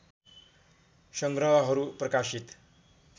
सङ्ग्रहहरू प्रकाशित